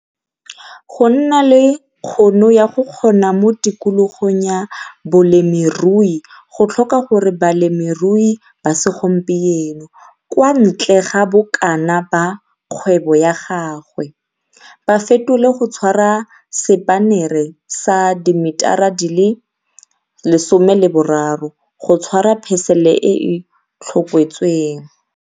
Go nna le kgono ya go kgona mo tikologong ya bolemirui go tlhoka gore balemirui ba segomieno, kwa ntle ga bokana ba kgwebo ya gagwe, ba fetole go tshwara sepanere sa dimetara di le 13 go tshwara phesele e e tlhokotsweng.